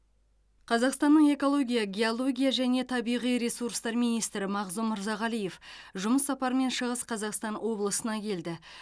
қазақстанның экология геология және табиғи ресурстар министрі мағзұм мырзағалиев жұмыс сапарымен шығыс қазақстан облысына келді